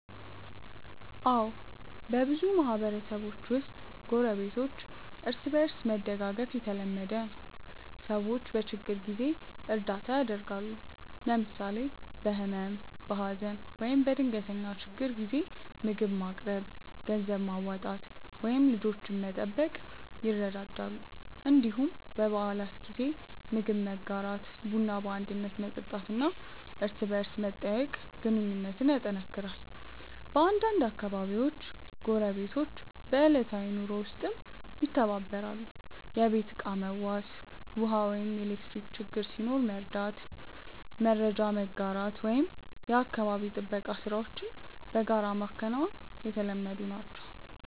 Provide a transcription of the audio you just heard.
አዎ፣ በብዙ ማህበረሰቦች ውስጥ ጎረቤቶች እርስ በእርስ መደጋገፍ የተለመደ ነው። ሰዎች በችግር ጊዜ እርዳታ ያደርጋሉ፣ ለምሳሌ በህመም፣ በሀዘን ወይም በድንገተኛ ችግር ጊዜ ምግብ ማቅረብ፣ ገንዘብ ማዋጣት ወይም ልጆችን መጠበቅ ይረዳዳሉ። እንዲሁም በበዓላት ጊዜ ምግብ መጋራት፣ ቡና በአንድነት መጠጣት እና እርስ በርስ መጠያየቅ ግንኙነቱን ያጠናክራል። በአንዳንድ አካባቢዎች ጎረቤቶች በዕለታዊ ኑሮ ውስጥም ይተባበራሉ፤ የቤት ዕቃ መዋስ፣ ውሃ ወይም ኤሌክትሪክ ችግር ሲኖር መርዳት፣ መረጃ መጋራት ወይም የአካባቢ ጥበቃ ሥራዎችን በጋራ ማከናወን የተለመዱ ናቸው።